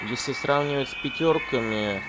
если сравнивать с пятёрками